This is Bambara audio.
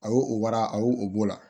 A y'o o wara a y'o o b'o la